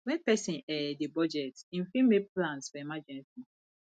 when person um dey budget im fit make plans for emergency